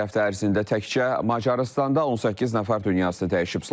Son bir həftə ərzində təkcə Macarıstanda 18 nəfər dünyasını dəyişib.